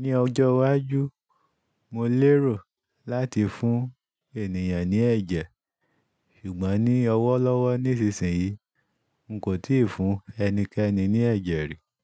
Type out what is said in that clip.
ní ọjọ́ iwájú, mo lérò láti fún ènìyàn ní ẹ̀jẹ̀. Ṣùgbọ́n ní ọwọ́ lọ́wọ́ nísinsìnyí, n kò tíì fún ẹnikẹ́ni ní ẹ̀jẹ̀ rí.